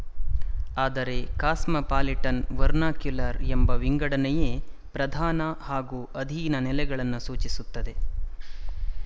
ಆದರೆ ಕಾಸ್ಮಪಾಲಿಟನ್ವರ್ನಾಕ್ಯುಲರ್ ಎಂಬ ವಿಂಗಡನೆಯೇ ಪ್ರಧಾನ ಹಾಗೂ ಅಧೀನ ನೆಲೆಗಳನ್ನು ಸೂಚಿಸುತ್ತದೆ